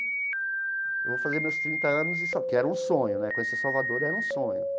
Eu vou fazer meus trinta anos e disse ó, que era um sonho né, conhecer Salvador era um sonho.